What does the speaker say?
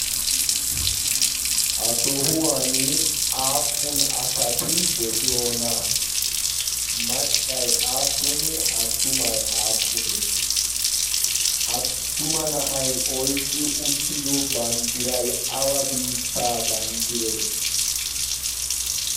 ha sohuwan aappun asati de'iyoona maccay aappunee attumai aappunee attuma na'ay oiqqi uttido banddiray awa biittaa banddire